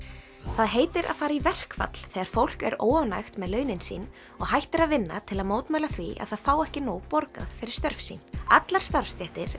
það heitir að fara í verkfall þegar fólk er óánægt með launin sín og hættir að vinna til að mótmæla því að það fái ekki nóg borgað fyrir störf sín allar starfstéttir